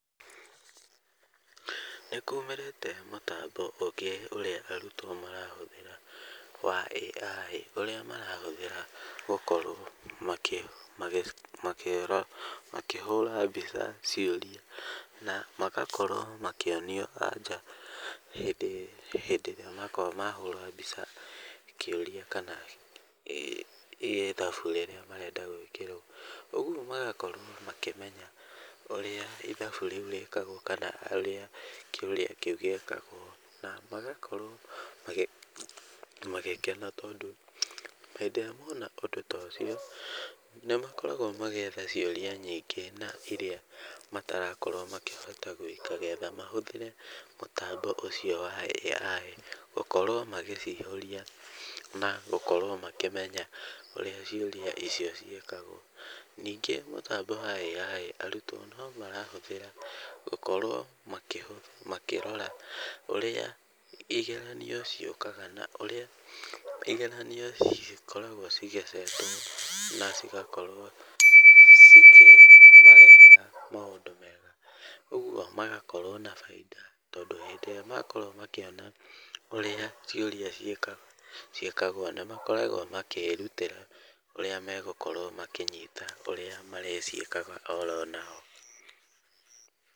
Nĩkumĩrĩte mũtambo ũngĩ ũrĩa arutwo marahũthĩra wa AI, ũrĩa marahũthĩra gũkorwo magĩhũra makĩhũra mbica ciũria na magakorwo makĩonio anja hĩndĩ hĩndĩ ĩrĩa makorwo mahũra mbica kĩũria kana ithabu rĩrĩa marenda gũĩkĩrwo. Ũguo magakorwo makĩmenya ũrĩa ithabu rĩu rĩkagwo kana ũrĩa kĩũria kĩu, gĩĩkagwo. Na magakorwo magĩkena tondũ hĩndĩ ĩrĩa mona ũndũ tocio, nĩmakoragwo magĩetha ciũria nyingĩ na iria matarakorwo makĩhota gũĩka getha mahũthĩre mũtambo ũcio wa AI, gũkorwo magĩcihũrĩa na gũkorwo makĩmenya ũrĩa ciũria icio ciĩkagwo. Ningĩ mũtambo wa AI, arutwo nomarahũthĩra gũkorwo makĩrora ũrĩa igeranio ciũkaga na ũrĩa igeranio cikoragwo cigĩ set wo na cigakorwo cikĩmarehera maũndũ mega, ũguo magakorwo na bainda. Tondũ hĩndĩ ĩrĩa makorwo makĩona ũrĩa ciũria ciĩkagwo ciĩkagwo, na makoragwo makĩrutĩra ũrĩa megũkorwo makĩnyita ũrĩa marĩciĩkaga oro nao.